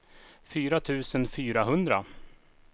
fyra tusen fyrahundra